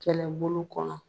Kɛlɛbolo kɔnɔ